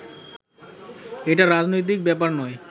এটা রাজনৈতিক বেপার নয়